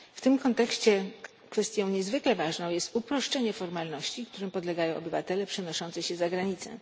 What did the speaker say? W tym kontekście kwestią niezwykle ważną jest uproszczenie formalności, którym podlegają obywatele przenoszący się za granicę.